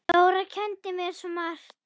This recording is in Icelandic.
Dóra kenndi mér svo margt.